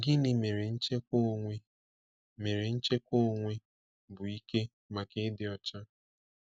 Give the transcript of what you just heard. Gịnị mere nchekwa onwe mere nchekwa onwe bụ ike maka ịdị ọcha?